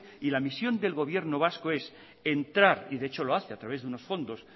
y la misión el gobierno vasco es entrar y de hecho lo hace a través de unos fondos